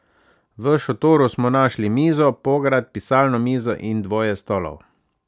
V šotoru smo našli mizo, pograd, pisalno mizo in dvoje stolov.